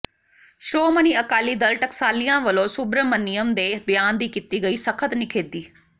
ਸ਼੍ਰੋਮਣੀ ਅਕਾਲੀ ਦਲ ਟਕਸਾਲੀਆਂ ਵੱਲੋਂ ਸੁਬਰਮਨਿਅਮ ਦੇ ਬਿਆਨ ਦੀ ਕੀਤੀ ਗਈ ਸਖ਼ਤ ਨਿਖੇਧੀ